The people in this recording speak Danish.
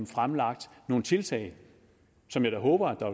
fremlagt nogle tiltag som jeg da håber at der